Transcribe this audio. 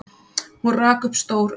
Hún rak upp stór augu.